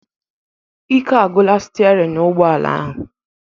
Ike agwụla sterin ụgbọala ahu